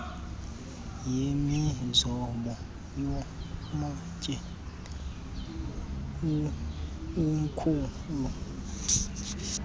yemizobo yamatye inkhulu